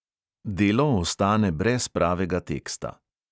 Delo ostane brez pravega teksta.